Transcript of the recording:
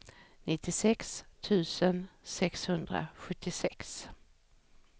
nittiosex tusen sexhundrasjuttiosex